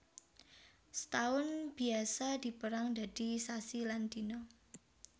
Setaun biasa dipérang dadi sasi lan dina